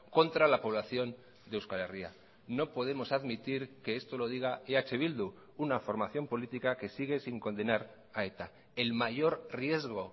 contra la población de euskal herria no podemos admitir que esto lo diga eh bildu una formación política que sigue sin condenar a eta el mayor riesgo